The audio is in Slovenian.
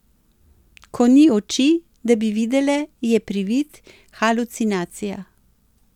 Ko ni oči, da bi videle, je privid, halucinacija.